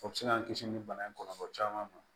O bɛ se k'an kisi nin bana in kɔlɔlɔ caman ma